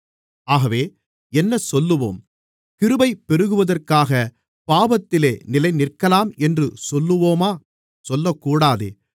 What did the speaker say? ஆகவே என்னசொல்லுவோம் கிருபை பெருகுவதற்காகப் பாவத்திலே நிலைநிற்கலாம் என்று சொல்லுவோமா சொல்லக்கூடாதே